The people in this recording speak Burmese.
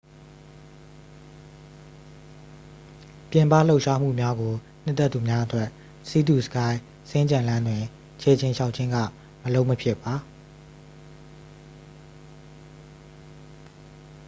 ပြင်ပလှုပ်ရှားမှုများကို နှစ်သက်သူများအတွက် sea to sky စင်္ကြံလမ်းတွင် ခြေကျင်လျှောက်ခြင်းက မလုပ်မဖြစ်ပါ